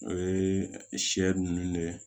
O ye sɛ ninnu de ye